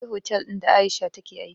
Na je otal ɗin da aisha take aiki